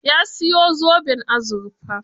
Ya siyo zoben azurfar?